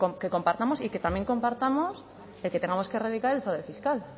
que compartamos y que también compartamos de que tengamos que erradicar el fraude fiscal